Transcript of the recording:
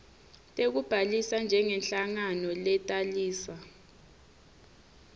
tekubhalisa njengenhlangano letalisa